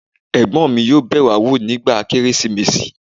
ẹ̀gbọ́n mi yóò bẹ̀ wá wò nígbà Kérésìmesì